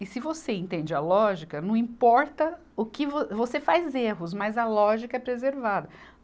E se você entende a lógica, não importa o que vo, você faz erros, mas a lógica é preservada.